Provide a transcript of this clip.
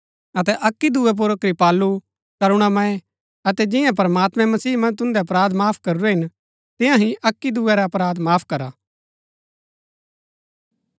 अतै अक्की दुऐ पुर कृपालु करुणामय अतै जिआं प्रमात्मैं मसीह मन्ज तुन्दै अपराध माफ करुरै हिन तियां ही अक्की दुऐ रै अपराध माफ करा